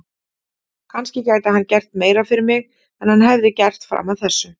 Kannski gæti hann gert meira fyrir mig en hann hefði gert fram að þessu.